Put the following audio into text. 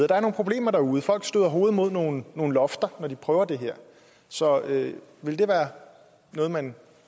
der er nogle problemer derude folk støder hovedet mod nogle lofter når de prøver det her så vil det være noget man